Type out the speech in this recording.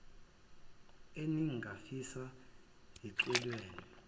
enin gafisa zishicilelwe